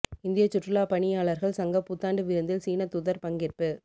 இந்தியச் சுற்றுலாப் பணியாளர்கள் சங்க புத்தாண்டு விருந்தில் சீனத் தூதர் பங்கேற்பு